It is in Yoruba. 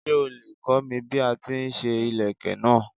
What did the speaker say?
Ṣé o lè kọ́ mi bí a ti ń ṣe ìlékè náà.